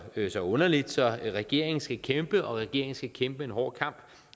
ikke så underligt så regeringen skal kæmpe regeringen skal kæmpe en hård kamp